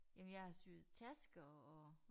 Jamen jeg syer tasker og